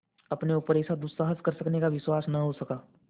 अपने ऊपर ऐसा दुस्साहस कर सकने का विश्वास न हो सका